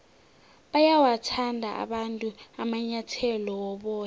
bayawathanda abantu amanyathele woboya